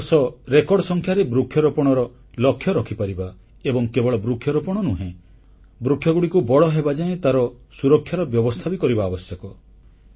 ଏ ବର୍ଷ ରେକର୍ଡ ସଂଖ୍ୟାରେ ବୃକ୍ଷରୋପଣର ଲକ୍ଷ୍ୟ ରଖିପାରିବା ଏବଂ କେବଳ ବୃକ୍ଷରୋପଣ ନୁହେଁ ବୃକ୍ଷଗୁଡ଼ିକ ବଡ଼ ହେବାଯାଏ ତାର ସୁରକ୍ଷାର ବ୍ୟବସ୍ଥା ବି କରିବା ଆବଶ୍ୟକ